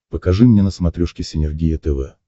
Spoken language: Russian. покажи мне на смотрешке синергия тв